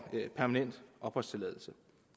permanent opholdstilladelse